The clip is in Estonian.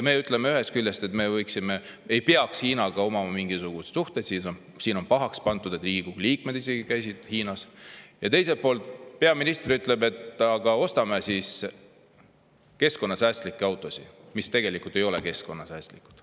Me ütleme ühest küljest, et meil ei peaks Hiinaga olema mitte mingisuguseid suhteid – siin on isegi pahaks pandud, et Riigikogu liikmed käisid Hiinas –, ja teiselt poolt, peaminister ütleb, et ostame keskkonnasäästlikke autosid, mis tegelikult ei ole keskkonnasäästlikud.